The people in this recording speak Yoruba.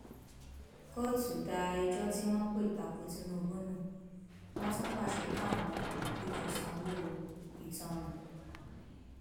kóòtù da ẹjọ tí wọn pè ta ko tinubu nù wọn tún pàṣẹ káwọn olùpẹjọ sanwó ìtanràn